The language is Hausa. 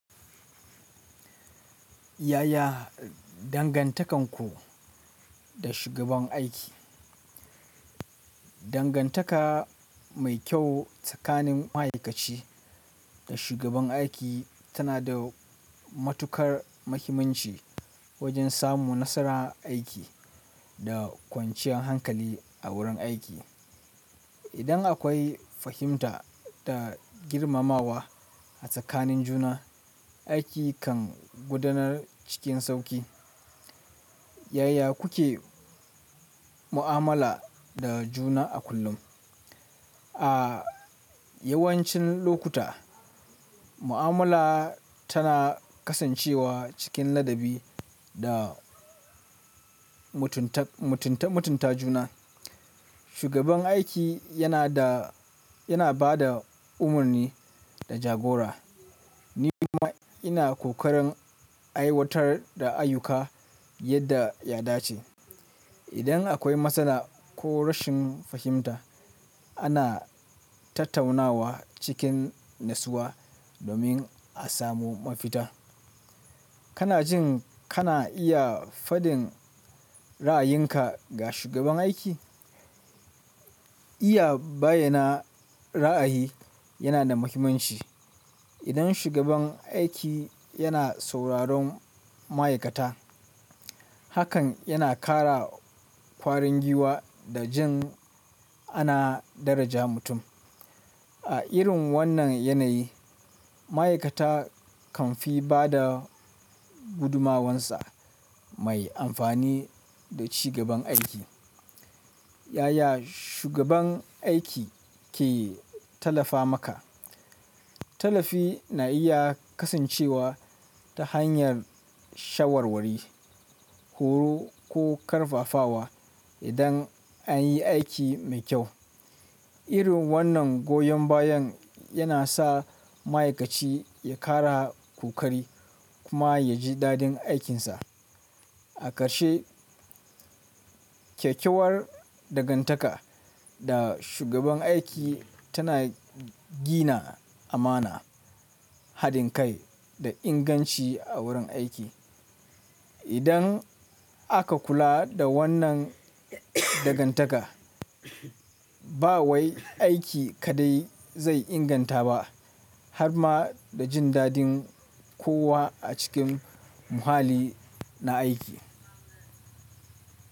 Yaya dangantakarku da shugaban aiki? Dangantaka mai kyau tsakanin ma'aikaci da shugaban aiki tanada matukar mahimmanci wajen samun nasarar aiki da kwanciyar hankali idan akwai fahimta da girmamawa a tsakanin juna, aiki kan gudanar cikin sauƙi. Yaya kuke mu'amala da juna a kullum? A yawancin lokuta, mu'amala tana kasancewa cikin ladabi da mutunta juna. Shugaban aiki yana bada umarni da jagora, ni kuma ina kokarin aiwatar da ayyuka yadda ya dace. Idan akwai matsala ko rashin fahimta, ana tattaunawa cikin natsuwa domin a samu mafita. Kana jin kana iya fadin ra'ayinka ga shugaban aiki? Iya bayyana ra'ayi yana da muhimmanci. Idan shugaban aiki yana sauraron ma'aikata, hakan yana ƙara ƙwarin giwa da jin ana daraja mutum. A irin wannan yanayi, ma'aikata kan fi bada gudumawarsa mai amfani da cigaban aiki. Yaya shugaban aiki ke tallafa maka? Tallafi na iya kasancewa ta hanyar shawarwari, horo ko ƙarfafawa idan an yi aiki mai kyau. Irin wannan goyon bayan yana sa ma'aikaci ya ƙara ƙoƙari kuma ya ji dadin aikinsa. A ƙarshe, kyakkyawar dangantaka da shugaban aiki tana gina amana, haɗin kai da inganci a wurin aiki. Idan aka kula da wannan dangantaka, ba wai aiki kaɗai zai inganta ba har ma da jin dadin kowa a cikin muhalli na aiki.